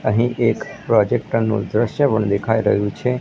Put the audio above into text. અહીં એક પ્રોજેક્ટર નો દ્રશ્ય પણ દેખાય રહ્યું છે.